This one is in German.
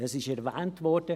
Es wurde erwähnt.